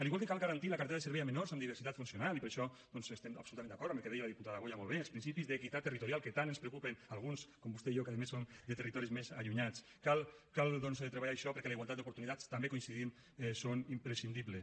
igual que cal garantir la cartera de serveis a menors amb diversitat funcional i per això doncs estem absolutament d’acord amb el que deia la diputada boya molt bé els principis d’equitat territorial que tant ens preocupa a alguns com vostè i jo que a més som de territoris més allunyats cal doncs treballar això perquè la igualtat d’oportunitats també hi coincidim són imprescindibles